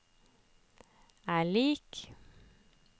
er lik